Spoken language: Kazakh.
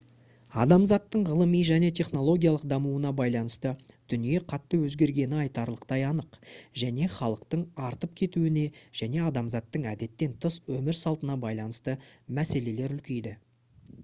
адамзаттың ғылыми және технологиялық дамуына байланысты дүние қатты өзгергені айтарлықтай анық және халықтың артып кетуіне және адамзаттың әдеттен тыс өмір салтына байланысты мәселелер үлкейді